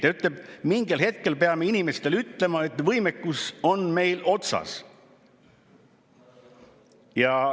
Ta ütleb: mingil hetkel me peame inimestele ütlema, et meie võimekus on otsas.